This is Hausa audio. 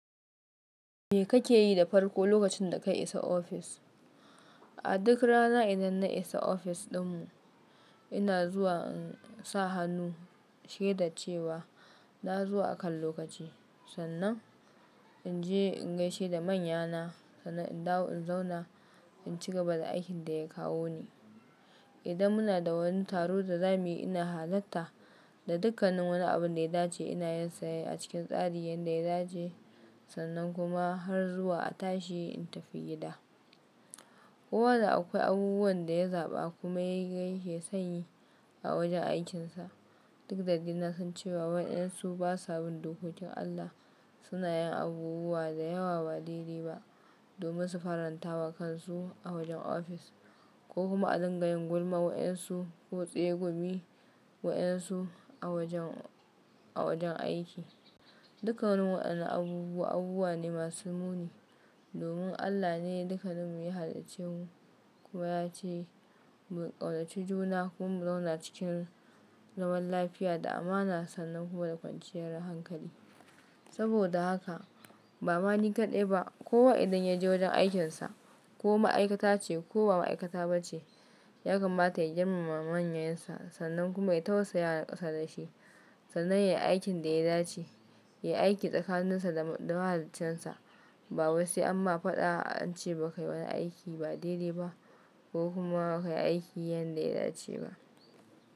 Me kake yi da farko lokacin da ka isa ofis? A duk rana idan na isa ofis din mu, ina zuwa in sa hannu sheda cewa na zuwa a kan lokaci. Sannan in je in gaishe da manyana, sannan in dawo in zauna in ci gaba da aikin da ya kawo ni. Idan muna da wani taro da za mu yi ina halarta da dukkanin wani abun da ya dace ina yin sa a cikin tsari yanda ya dace. Sannan kuma har zuwa a tashi in tafi gida. Kowa da akwai abubuwan da ya zaɓa kuma ya ga yake sonyi a wajen aikin sa. Duk da dai nasan ce wa waɗansu ba sabin dokokin Allah suna yin abubuwa da yawa ba daidai ba domin su farantawa kansu a wajen ofis ko kuma a dangayen gulma waɗansu ko tsegumi waɗansu a wajen, a wajen aiki. Dukkan wani waɗannan abubuwa abubuwa ne masu muni domin Allah ne dukkaninmu ya halicce mu kuma ya ce mu ƙaunace juna kuma mu zauna cikin zaman lafiya da amana sannan kuma da kwanciyar hankali. Saboda haka ba ma ni kaɗai ba kowa idan ya je wajen aikin sa ko ma'aikata ce ko ba ma'aikata ba ce ya kamata ya girmama manyansa sannan kuma ya tausaya wa na ƙasa da shi sannan yayi aikin da ya dace, ya yi aiki tsakanin sa da mahalicciyar sa ba wai sai amma faɗa an ce ba ka yi wani aiki ba daidai ba ko kuma ba ka yi aiki yanda ya dace ba.